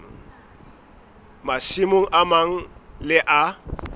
masimong a mang le a